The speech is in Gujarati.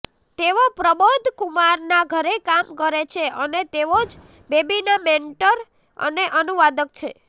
તેઓ પ્રબોધ કુમારનાં ઘરે કામ કરે છે અને તેઓ જ બેબીનાં મેન્ટર અને અનુવાદક છે